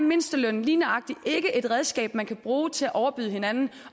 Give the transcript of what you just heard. mindsteløn lige nøjagtig ikke et redskab man kan bruge til at overbyde hinanden